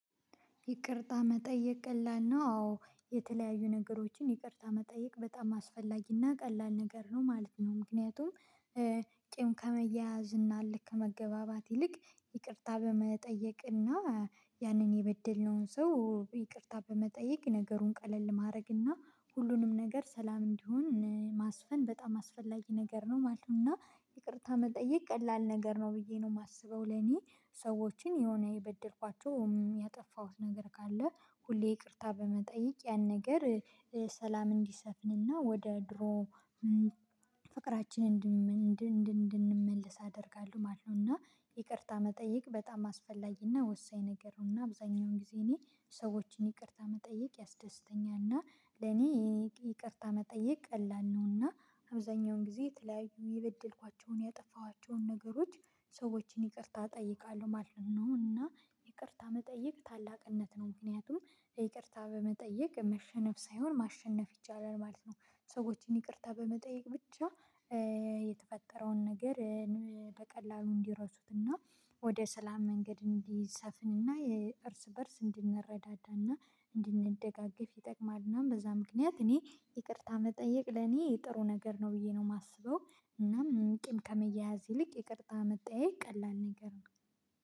ይቅርታ መጠየቅ ቀላል ነው አዎ የተለያዩ ነገሮችን ይቅርታ መጠየቅ በጣም አስፈላጊና ቀላል ነገር ነው ማለት ነው። ምክንያቱም ቂም ከመያያዝ እና እልክ ከመገባባት ይልቅ ይቅርታ በመጠየቅና ያንን የበደልነውን ሰው ይቅርታ በመጠየቅ ነገሩን ቀለል ማድረግና ሁሉንም ነገር ሰላም እንዲሆን ማስፈን በጣም አስፈላጊ ነገር ነው ማለት ነው እና ይቅርታ መጠየቅ ቀላል ነገር ነው ብዬ ነው የማስበው ለኔ ሰዎችን የሆነ የበደልኳቸው ያጠፋሁት ነገር ካለ ሁሌ ይቅርታ በመጠየቅ ያን ነገር ሰላም እንዲሰፍንና ወደ ድሮ ፍቅራችን እንድንመልስ አደርጋለሁ ማለት ነው። እና ይቅርታ መጠየቅ በጣም አስፈላጊና ወሳኝ ነገር ነውና አብዛኛውን ጊዜ እኔ ሰዎችን ይቅርታ መጠየቅ ያስደስተኛልና ለኔ ይቅርታ መጠየቅ ቀላል ነውና አብዛኛውን ጊዜ የተለያዩ የበደልኳቸውን ያጠፋኋቸውን ነገሮች ሰዎችን ይቅርታ እጠይቃለሁ ማለት ነው። እና ይቅርታ መጠየቅ ታላቅነት ነው ምክንያቱም ይቅርታ በመጠየቅ መሸነፍ ሳይሆን ማሸነፍ ይቻላል ማለት ነው። ሰዎችን ይቅርታ በመጠየቅ ብቻ የተፈጠረውን ነገር በቀላሉ እንዲረሱትና ወደ ሰላም መንገድ እንዲሰፍንና የእርስ በእርስ እንድንረዳዳና እንድንደጋገፍ ይጠቅማልና በዛ ምክንያት እኔ ይቅርታ መጠየቅ ለኔ ጥሩ ነገር ነው ብዬ ነው የማስበው። እናም ቂም ከመያያዝ ይልቅ ይቅርታ መጠያየቅ ቀላል ነገር ነው